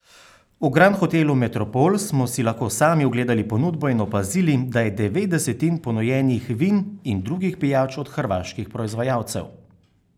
V Grand hotelu Metropol smo si lahko sami ogledali ponudbo in opazili, da je devet desetin ponujenih vin in drugih pijač od hrvaških proizvajalcev.